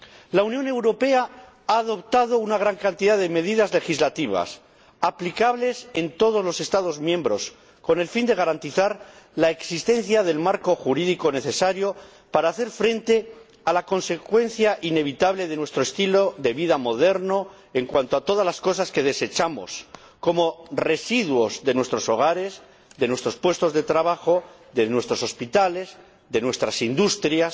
La Unión Europea ha adoptado una gran cantidad de medidas legislativas, aplicables en todos los Estados miembros, con el fin de garantizar la existencia del marco jurídico necesario para hacer frente a la consecuencia inevitable de nuestro estilo de vida moderno en cuanto a todas las cosas que desechamos como residuos de nuestros hogares, de nuestros puestos de trabajo, de nuestros hospitales, de nuestras industrias,